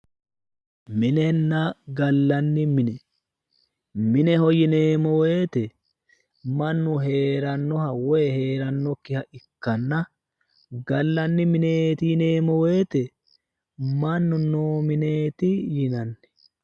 minenna gallanni mine mineho yineemmo woyiite mannu heerannoha woyi heerannokkiha ikkanna gallanni mineeti yineemmo woyiite mannu noo mineeti yinanni.